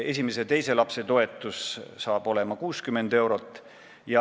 Esimese ja teise lapse toetus saab olema 60 eurot.